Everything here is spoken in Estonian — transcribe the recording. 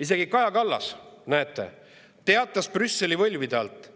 Isegi Kaja Kallas, näete, teatas Brüsseli võlvide alt,